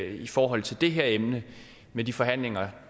i forhold til det her emne med de forhandlinger